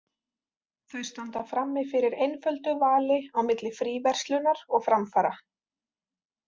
Þau standa frammi fyrir einföldu vali á milli fríverslunar og framfara.